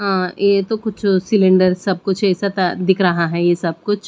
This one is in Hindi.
अं ये तो कुछ सिलेंडर सब कुछ ऐसा था दिख रहा है ये सब कुछ--